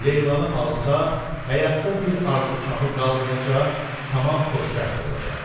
Leylanı alsa, həyatda bir arzu-kamı qalmayacaq, tamam xoşbəxt olacaq.